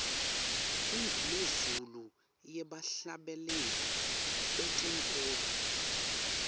indumezulu yebahhlabeleli betenkholo